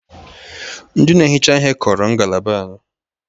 Ndị na-ehicha ihe kọrọ ngalaba anyị